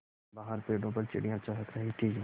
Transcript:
बाहर पेड़ों पर चिड़ियाँ चहक रही थीं